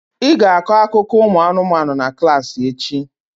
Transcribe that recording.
Ị ga-akọ akụkọ ụmụanụmanụ na klassị echi!